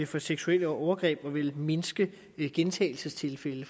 for seksuelle overgreb og vil mindske gentagelsestilfælde